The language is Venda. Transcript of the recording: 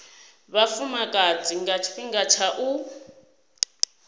vhafumakadzi nga tshifhinga tsha u